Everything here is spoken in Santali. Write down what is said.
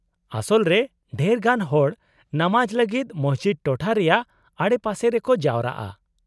-ᱟᱥᱚᱞ ᱨᱮ, ᱰᱷᱮᱨ ᱜᱟᱱ ᱦᱚᱲ ᱱᱟᱢᱟᱡ ᱞᱟᱹᱜᱤᱫ ᱢᱚᱥᱡᱤᱫ ᱴᱚᱴᱷᱟ ᱨᱮᱭᱟᱜ ᱟᱰᱮᱯᱟᱥᱮ ᱨᱮᱠᱚ ᱡᱟᱣᱨᱟᱜᱼᱟ ᱾